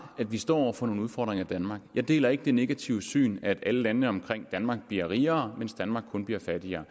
at vi står over for nogle udfordringer i danmark jeg deler ikke det negative syn at alle landene omkring danmark bliver rigere mens danmark kun bliver fattigere